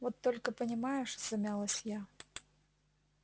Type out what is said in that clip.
вот только понимаешь замялась я